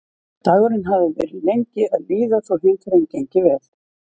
Dagurinn hafði verið lengi að líða þótt heimferðin gengi vel.